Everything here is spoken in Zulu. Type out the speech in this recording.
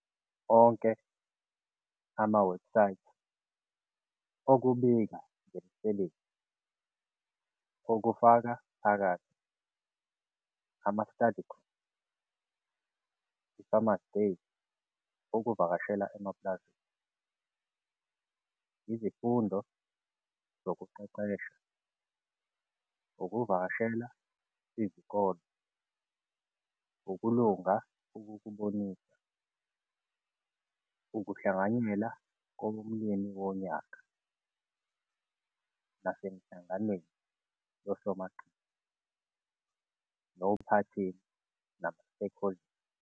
Onke ama-website okubika ngemisebenzi okufakaphakathi ama-study group, i-farmers' Days ukuvakashela emapulazini, izifundo zokuqeqesha, ukuvakashela izikole, ukulunga ukukubonisa, ukuhlanganyela kowomlimi wonyaka nasemihlanganweni yosomaqhinga nophathina nama-stakeholders.